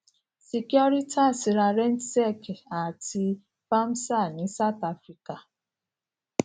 securitas ra rentsec àti vamsa ní south africa